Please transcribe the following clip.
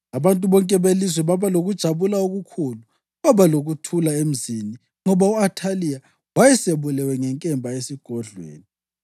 abantu bonke belizwe baba lokujabula okukhulu. Kwaba lokuthula emzini, ngoba u-Athaliya wayesebulewe ngenkemba esigodlweni.